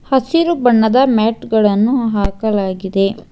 ಹಸಿರು ಬಣ್ಣದ ಮ್ಯಾಟ್ ಗಳನ್ನು ಹಾಕಲಾಗಿದೆ.